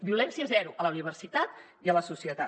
violència zero a la universitat i a la societat